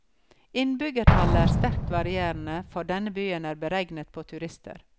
Innbyggertallet er sterkt varierende, for denne byen er beregnet på turister.